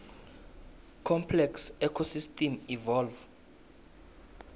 complex ecosystems evolve